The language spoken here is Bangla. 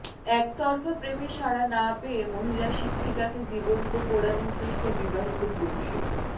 একতরফা প্রেমে সাড়া না পেয়ে মহিলা শিক্ষিকাকে জীবন্ত পোড়ানোর চেষ্টা বিবাহিত পুরুষের